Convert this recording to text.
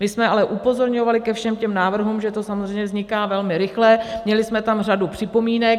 My jsme ale upozorňovali ke všem těm návrhům, že to samozřejmě vzniká velmi rychle, měli jsme tam řadu připomínek.